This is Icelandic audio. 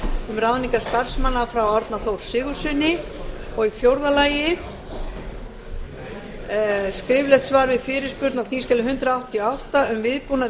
um ráðningar starfsmanna frá árna þór sigurðssyni fjórða skriflegt svar við fyrirspurn á þingskjali hundrað áttatíu og átta um viðbúnað við